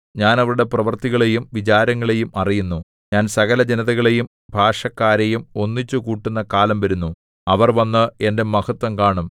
ഞാൻ അവരുടെ പ്രവൃത്തികളെയും വിചാരങ്ങളെയും അറിയുന്നു ഞാൻ സകലജനതകളെയും ഭാഷക്കാരെയും ഒന്നിച്ചുകൂട്ടുന്ന കാലം വരുന്നു അവർ വന്ന് എന്റെ മഹത്ത്വം കാണും